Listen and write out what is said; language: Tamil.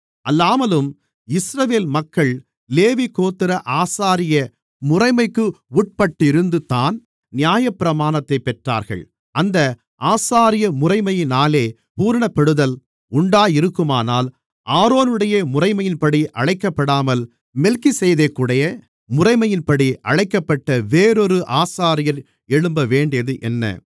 அல்லாமலும் இஸ்ரவேல் மக்கள் லேவி கோத்திர ஆசாரிய முறைமைக்கு உட்பட்டிருந்துதான் நியாயப்பிரமாணத்தைப் பெற்றார்கள் அந்த ஆசாரியமுறைமையினாலே பூரணப்படுதல் உண்டாயிருக்குமானால் ஆரோனுடைய முறைமையின்படி அழைக்கப்படாமல் மெல்கிசேதேக்குடைய முறைமையின்படி அழைக்கப்பட்ட வேறொரு ஆசாரியர் எழும்பவேண்டியது என்ன